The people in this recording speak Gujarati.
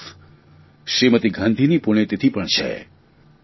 તો બીજી તરફ શ્રીમતી ગાંધીની પુણ્યતિથિ પણ છે